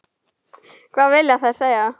Hvað vilja þær segja?